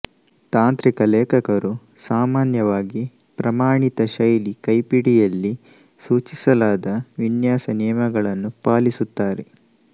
ತಾಂತ್ರಿಕ ಲೇಖಕರು ಸಾಮಾನ್ಯವಾಗಿ ಪ್ರಮಾಣಿತ ಶೈಲಿ ಕೈಪಿಡಿಯಲ್ಲಿ ಸೂಚಿಸಲಾದ ವಿನ್ಯಾಸ ನಿಯಮಗಳನ್ನು ಪಾಲಿಸುತ್ತಾರೆ